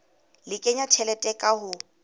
le kenya tjhelete ka ho